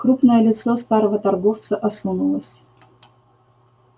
крупное лицо старого торговца осунулось